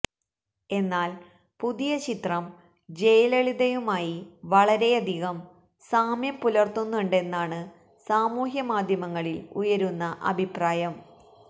എന്നാല് പുതിയ ചിത്രം ജയലളിതയുമായി വളരെയധികം സാമ്യം പുലര്ത്തുന്നുണ്ടെന്നാണ് സാമൂഹ്യമാധ്യമങ്ങളില് ഉയരുന്ന അഭിപ്രായം